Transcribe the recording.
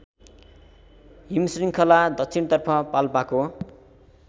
हिमशृङ्खला दक्षिणतर्फ पाल्पाको